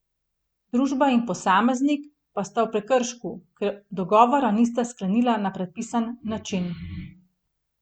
Družba in posameznik pa sta v prekršku, ker dogovora nista sklenila na predpisan način.